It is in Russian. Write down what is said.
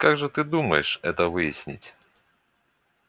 как же ты думаешь это выяснить